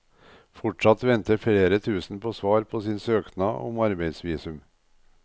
Fortsatt venter flere tusen på svar på sin søknad om arbeidsvisum.